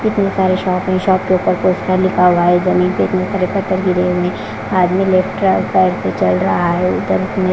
कितने सारे शॉप हैं शॉप के ऊपर पोस्टर लिखा हुआ है जमीन पे बहोत सारे पत्थर गिरे हुए हैं आदमी लेफ्ट पैर से चल रहा है इधर--